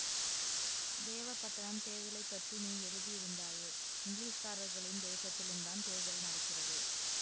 தேவப்பட்டணம் தேர்தலை பற்றி நீ எழுதியிருந்தாயே இங்கிலீஷ்காரர்களின் தேசத்திலுந்தான் தேர்தல் நடக்கிறது